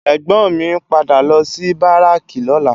Ègbòn mi n pádà lò si báráki lòlá